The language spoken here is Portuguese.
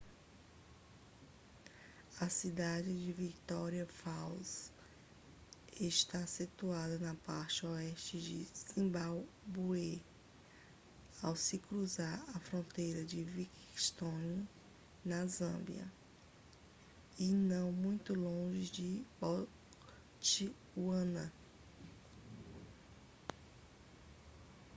a cidade de victoria falls está situada na parte oeste do zimbábue ao se cruzar a fronteira de livingstone na zâmbia e não muito longe de botswana